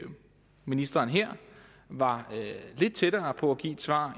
ministeren her var lidt tættere på at give et svar